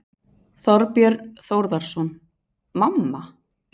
Þorbjörn Þórðarson: Mamma?